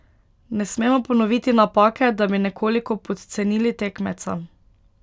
Ne smemo ponoviti napake, da bi nekoliko podcenili tekmeca.